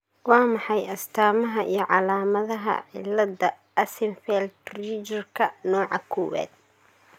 Waa maxay astamaha iyo calaamadaha cilada Axenfeld Riegerka nooca koowaad?